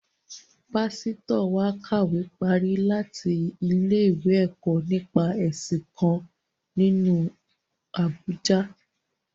Pásítọ̀ wa kàwé parí láti ilé-ìwé ẹ̀kọ́ nípa ẹ̀sìn kan, nílu Àbújâ